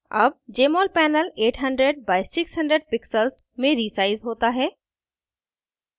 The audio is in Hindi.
अब jmol panel 800 by 600 pixels में रीसाइज़ होता है